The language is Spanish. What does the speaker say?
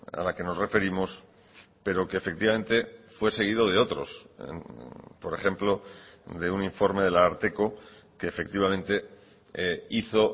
a la que nos referimos pero que efectivamente fue seguido de otros por ejemplo de un informe del ararteko que efectivamente hizo